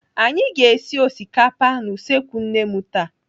Anyị ga-esi osikapa n'usekwu nne nne m taa.